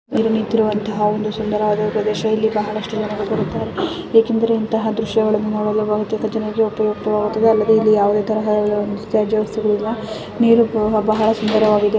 ಇದು ನಿಂತಿರುವಂತಹ ಒಂದು ಸುಂದರವಾದ ಪ್ರದೆಶ ಇಲ್ಲಿ ಬಹಳಷ್ಟು ಜನರು ಬರುತ್ತಾರೆ ಏಕೆಂದರೆ ಇಂತಹ ದೃಶ್ಯಗಳನ್ನು ನೊಡಲು ಬಹುತೆಕ ಜನರು ಅಲ್ಲದೆ ಇಲ್ಲಿ ಯಾವುದೆ ತರಹದ ಒಂದು ತ್ಯಾಜ್ಯ ವಸ್ತುಗಳಿಲ್ಲ ನೀರು ಕುಡ ಬಹಳ ಸುಂದರವಾಗಿದೆ .